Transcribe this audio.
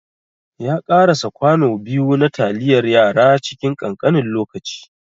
Ya ƙarasa kwano biyu na taliyar yara cikin ƙanƙanin lokaci.